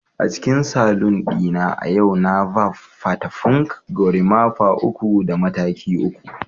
a cikin saloon na a yau na barb fata punk, gorimapa uku da mataki uku